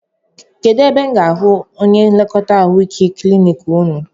Kedụ ebe m ga-ahụ onye nlekọta ahụike klinik unu?